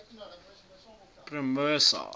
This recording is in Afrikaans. promosa